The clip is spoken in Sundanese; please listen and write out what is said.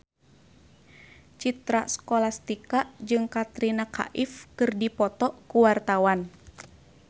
Citra Scholastika jeung Katrina Kaif keur dipoto ku wartawan